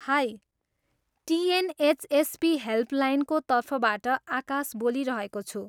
High! TNHSP हेल्पलाइनको तर्फबाट आकाश बोलिरहेको छु।